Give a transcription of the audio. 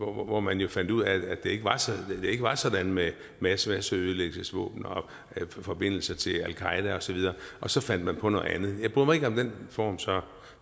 hvor man jo fandt ud af at det ikke var sådan med masseødelæggelsesvåben og forbindelser til al qaeda osv og så fandt man på noget andet jeg bryder mig ikke om den form så